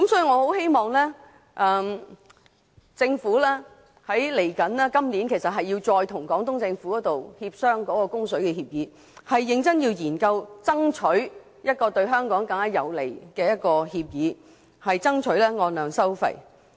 我希望政府今年稍後時間，會再與廣東政府協商供水協議，認真研究對香港更有利的供水協議，爭取按量收費。